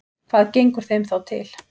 Hvað gengur þeim þá til?